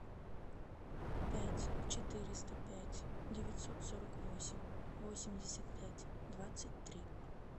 пять четыреста пять девятьсот сорок восемь восемьдесят пять двадцать три